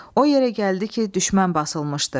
O yerə gəldi ki, düşmən basılmışdı.